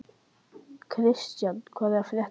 Kristian, hvað er að frétta?